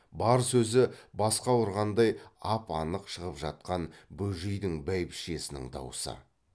бар сөзі басқа ұрғандай ап анық шығып жатқан бөжейдің бәйбішесінің даусы